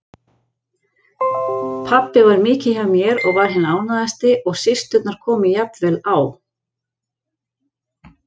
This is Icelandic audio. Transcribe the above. Pabbi var mikið hjá mér og var hinn ánægðasti og systurnar komu jafnvel á